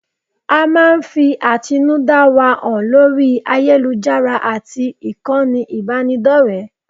A máa ń fi àtinúdá wa hàn lórí ayélujára àti ìkànnì ìbánidọ́rẹ̀ẹ́.